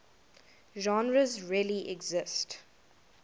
genres really exist